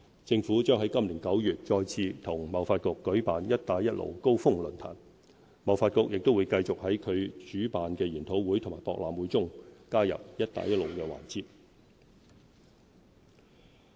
政府將在今年9月再次與貿發局舉辦"一帶一路"高峰論壇，貿發局亦會繼續在其主辦的研討會和博覽會中加入"一帶一路"環節。